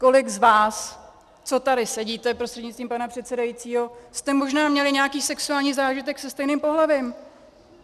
Kolik z vás, co tady sedíte, prostřednictvím pana předsedajícího, jste možná měli nějaký sexuální zážitek se stejným pohlavím!